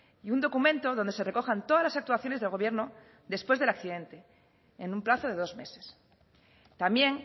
y un documento donde se recojan todas las actuaciones del gobierno después del accidente en un plazo de dos meses también